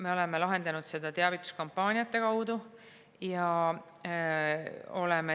Me oleme lahendanud seda teavituskampaaniate kaudu.